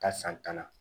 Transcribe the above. Ka san tan na